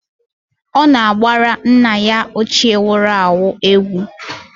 Ọ na-agbara nna ya ochie nwuru anwụ egwu.